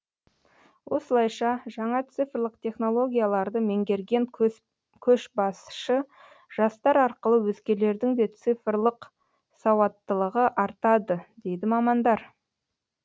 осылайша жаңа цифрлық технологияларды меңгерген көшбасшы жастар арқылы өзгелердің де цифрлық сауаттылығы артады дейді мамандар